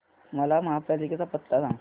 मला महापालिकेचा पत्ता सांग